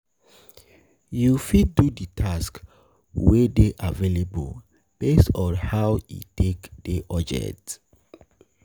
You fit do di tasks wey dey available based on how e take dey urgent